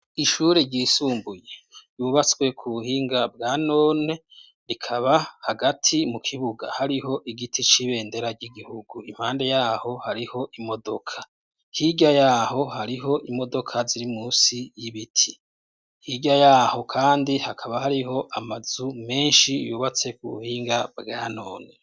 Ishure ryisumbuye yubatswe ku buhinga bwa none rikaba hagati mu kibuga hariho igiti c'ibendera ry'igihugu impande yaho hariho imodoka hirya yaho hariho imodoka ziri munsi y'ibiti hieya yaho kandi hakaba hariho amazu menshi yubatse ku buhinga bwanone.